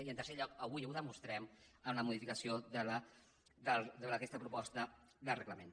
i en tercer lloc avui ho demostrem amb la modificació d’aquesta proposta de reglament